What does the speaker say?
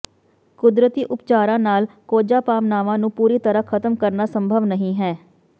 ਕੁਦਰਤੀ ਉਪਚਾਰਾਂ ਨਾਲ ਕੋਝਾ ਭਾਵਨਾਵਾਂ ਨੂੰ ਪੂਰੀ ਤਰ੍ਹਾਂ ਖਤਮ ਕਰਨਾ ਸੰਭਵ ਨਹੀਂ ਹੈ